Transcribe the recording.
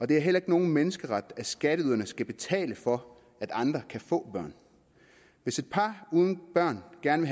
det er heller ikke nogen menneskeret at skatteyderne skal betale for at andre kan få børn hvis et par uden børn gerne